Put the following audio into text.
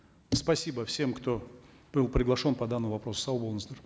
спасибо всем кто был приглашен по данному вопросу сау болыңыздар